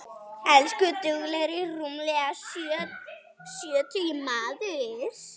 Elsku duglegi rúmlega sjötugi maður.